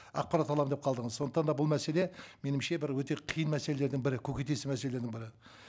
ақпарат аламын деп қалдыңыз сондықтан да бұл мәселе меніңше бір өте қиын мәселелердің бірі көкейтесті мәселенің бірі